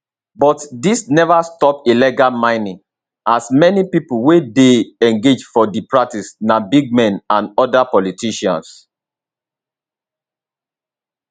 but dis neva stop illegal mining as many pipo wey dey engage for di practice na big men and oda politicians